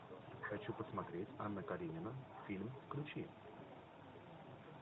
хочу посмотреть анна каренина фильм включи